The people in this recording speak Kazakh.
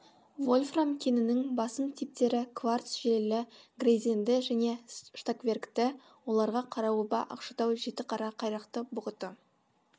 вольфрам кенінің басым типтері кварц желілі грейзенді және штокверкті оларға қараоба ақшатау жетіқара қайрақты бұғыты